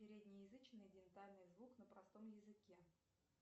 переднеязычный дентальный звук на простом языке